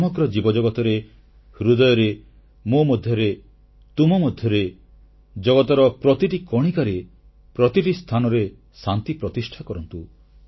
ସମଗ୍ର ଜୀବଜଗତରେ ହୃଦୟରେ ମୋ ମଧ୍ୟରେ ତୁମ ମଧ୍ୟରେ ଜଗତର ପ୍ରତିଟି କଣିକାରେ ପ୍ରତିଟି ସ୍ଥାନରେ ଶାନ୍ତି ପ୍ରତିଷ୍ଠା କରନ୍ତୁ